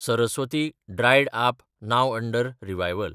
Saraswati (dried up, now under revival)